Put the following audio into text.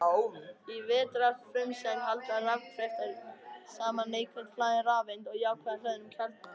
Í vetnisfrumeind halda rafkraftar saman neikvætt hlaðinni rafeind og jákvætt hlöðnum kjarna.